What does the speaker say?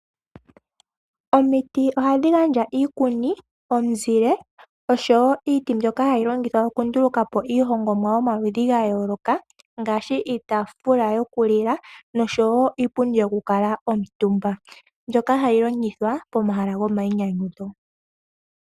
Omiti ohadhi gandja iikuni, omuzile oshowo iiti mbyoka hayi longithwa oku nduluka po iihongomwa yomaludhi ga yooloka ngaashi iitaafula yokulila oshowo iipundi yoku kala omutumbwa, mbyoka hayi longithwa pomahala gomainyanyudho.